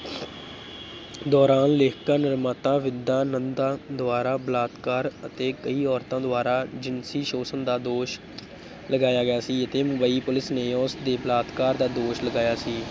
ਦੌਰਾਨ ਲੇਖਿਕਾ ਨਿਰਮਾਤਾ ਵਿਦਾ ਨੰਦਾ ਦੁਆਰਾ ਬਲਾਤਕਾਰ ਅਤੇ ਕਈ ਔਰਤਾਂ ਦੁਆਰਾ ਜਿਨਸੀ ਸੋਸ਼ਣ ਦਾ ਦੋਸ਼ ਲਗਾਇਆ ਗਿਆ ਸੀ ਅਤੇ ਮੁੰਬਈ ਪੁਲਿਸ ਨੇ ਉਸਤੇ ਬਲਾਤਕਾਰ ਦਾ ਦੋਸ਼ ਲਗਾਇਆ ਸੀ।